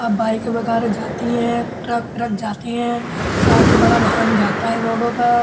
अब बाइक वैगेरा जाती है ट्रक पिरक जाती है। काफी बढ़ा वाहन जाता है रोडो पर।